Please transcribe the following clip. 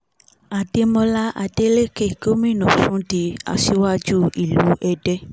àdèmọ́lá adélèkẹ́ gómìnà ọ̀sùn di aṣíwájú ìlú èdè